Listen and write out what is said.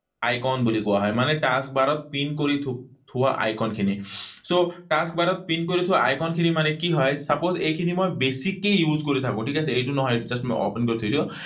Icon বুলি কোৱা হয়। মানে task bar ত পিন কৰি থোৱা icon খিনি। So, task bar ত পিন কৰি থোৱা icon খিনি কি হয়? Suppose এইখিনি মই বেছিকৈ কৰি থাকো, ঠিক আছে? এইটো নহয়। Just মই open কৰি থৈছোঁ।